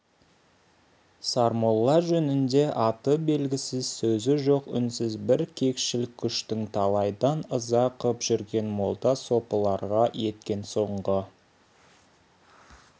сармолла жөнінде аты белгісіз сөзі жоқ үнсіз бір кекшіл күштің талайдан ыза қып жүрген молда сопыларға еткен соңғы